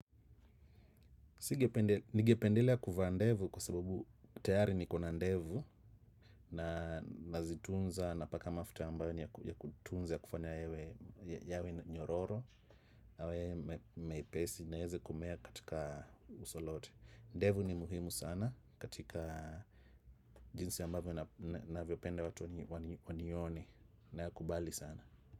Ningependelea kuvaa ndevu kwa sababu tayari nikona ndevu na nazitunza napaka mafuta ambayo ni ya kutunza kufanya yawe nyororo yawe mepesi na ieze kumea katika uso lote. Ndevu ni muhimu sana katika jinsi ambavyo navyopenda watu wanione na kubali sana.